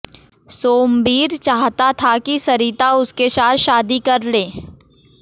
सोमबीर चाहता था कि सरिता उसके साथ शादी कर ले